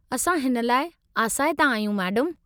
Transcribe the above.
असां हिन लाइ आसाइता आहियूं, मैडमु।